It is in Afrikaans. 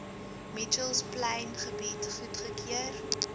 mitchells plaingebied goedgekeur